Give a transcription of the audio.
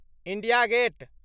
India gate